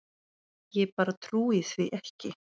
Ég bara trúi því ekki.